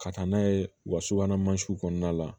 Ka taa n'a ye u ka subahana mansinw kɔnɔna la